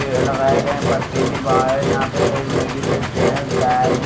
पेड़ लगाए गए पत्ते भी बाहर यहां पे एक लेडिस है जेंट्स बैग भी--